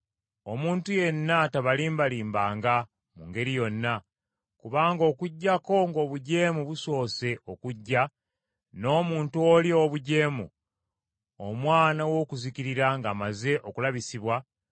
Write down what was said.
Omuntu yenna tabalimbalimbanga mu ngeri yonna; kubanga okuggyako ng’obujeemu busoose okujja, n’omuntu oli ow’obujeemu, omwana w’okuzikirira ng’amaze okulabisibwa,